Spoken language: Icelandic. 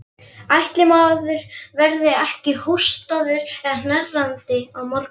Ætli maður verði ekki hóstandi og hnerrandi á morgun.